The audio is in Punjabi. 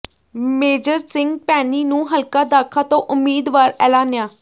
ਮੇਜਰ ਸਿੰਘ ਭੈਣੀ ਨੂੰ ਹਲਕਾ ਦਾਖਾ ਤੋਂ ਉਮੀਦਵਾਰ ਐਲਾਨਿਆ